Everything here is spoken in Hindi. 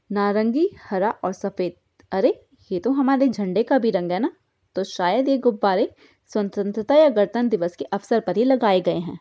नारंगी हरा और सफेद अरे ये तो हमारे झंडे का भी रंग है ना तो शायद ये गुब्बारे स्वतंत्रा या गणतंत्र दिवस के अवसर पर ही लगाए गए हैं।